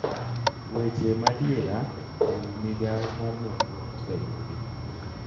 Weche madiera e wi migawo mar nonro ose yudi